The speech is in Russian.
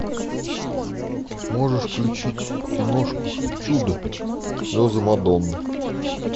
можешь включить киношку чудо слезы мадонны